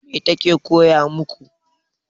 Mai ta ke koya maku?